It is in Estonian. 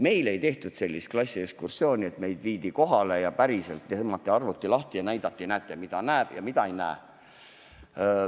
Meile ei tehtud sellist klassiekskurssiooni, et meid oleks päriselt kohale viidud ja arvuti lahti tõmmatud ja näidatud, mida näeb ja mida ei näe.